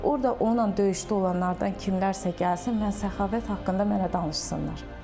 Orda onunla döyüşdə olanlardan kimlərsə gəlsin, mən Səxavət haqqında mənə danışsınlar.